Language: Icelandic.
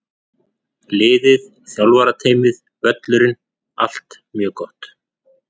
Liðið, þjálfarateymið, völlurinn- allt mjög gott!